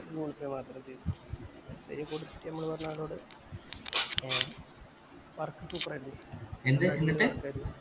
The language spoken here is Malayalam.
google pay മാത്രം ചെയ്തു